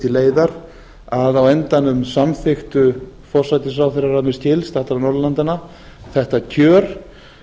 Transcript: til leiðar að á endanum samþykktu forsætisráðherrar að mér skilst allra norðurlandanna þetta kjör